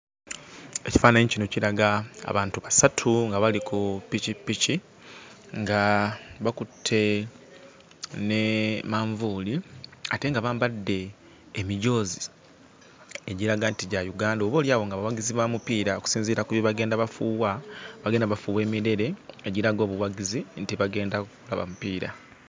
Ekifaananyi kino kiraga abantu basatu nga bali ku pikipiki nga bakutte ne manvuuli ate nga bambadde emijoozi egiraga nti gya Uganda, oboolyawo nga bawagizi ba mupiira okusinziira ku bye bagenda bafuuwa; bagenda bafuuwa emirere egiraga obuwagizi nti bagenda kulaba mupiira.